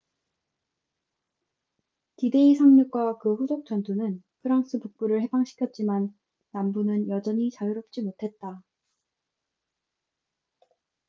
d-데이 상륙과 그 후속 전투는 프랑스 북부를 해방시켰지만 남부는 여전히 자유롭지 못했다